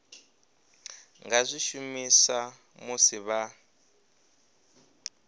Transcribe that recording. nga zwi shumisa musi vha